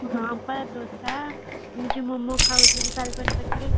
ହଁ ବା ଦୋଷା ଆମେ ଯୋଉ momo ଖାଉଥିଲେ ପାଖରେ